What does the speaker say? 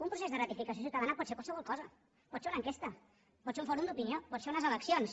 un procés de ratificació ciutadana pot ser qualsevol cosa pot ser una enquesta pot ser un fòrum d’opinió pot ser unes eleccions